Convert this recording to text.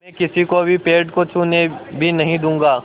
मैं किसी को भी पेड़ को छूने भी नहीं दूँगा